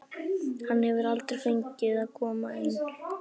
Hann hefur aldrei fengið að koma inn á.